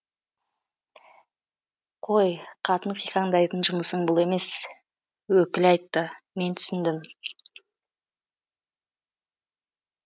қой қатын қиқаңдайтын жұмысың бұл емес өкіл айтты мен түсіндім